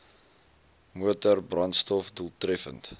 motor brandstof doeltreffend